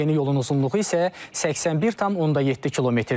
Yeni yolun uzunluğu isə 81,7 kmdir.